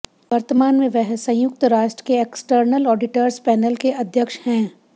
वर्तमान में वह संयुक्त राष्ट्र के एक्सटर्नल ऑडिटर्स पैनल के अध्यक्ष हैं